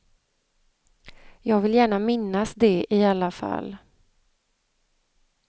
Jag vill gärna minnas det i alla fall.